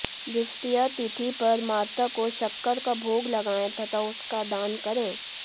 द्वितीया तिथि पर माता को शक्कर का भोग लगाएं तथा उसका दान करें